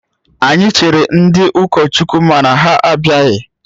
Anyị chere ndị ụkọchukwu mana ha abịaghị